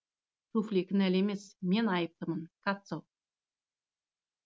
туфли кінәлі емес мен айыптымын катцо